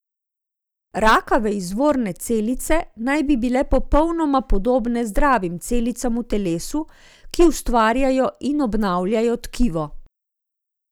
Rakave izvorne celice naj bi bile popolnoma podobne zdravim celicam v telesu, ki ustvarjajo in obnavljajo tkivo.